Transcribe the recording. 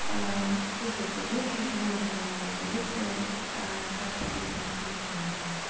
слушайте вы ещё чего не понимаете если а секс описан чувственно